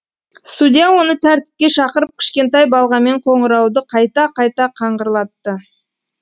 судья оны тәртіпке шақырып кішкентай балғамен қонырауды қайта қайта қаңғырлатты